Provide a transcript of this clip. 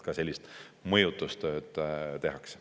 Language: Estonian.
Ka sellist mõjutustööd tehakse.